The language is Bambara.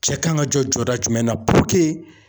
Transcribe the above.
Cɛ kan ka jɔ jɔda jumɛn na puruke